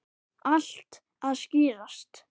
Allt að skýrast